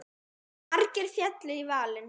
Margir féllu í valinn.